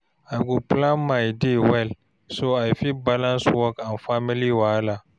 I go plan my day well so I fit balance work and family wahala.